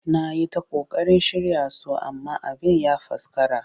Na yi ta ƙoƙarin shirya su amma abin ya faskara